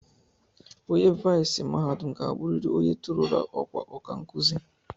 Onye viisii mahadum ga-abụrịrị onye torurula ọkwa ọkankụzi